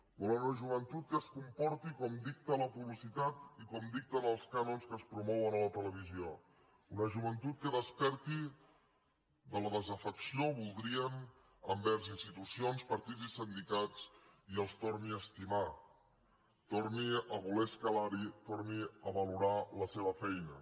volen una joventut que es comporti com dicta la publicitat i com dicten els cànons que es promouen a la televisió una joventut que desperti de la desafecció la voldrien envers institucions partits i sindicats i els torni a estimar torni a voler escalar hi torni a valorar la seva feina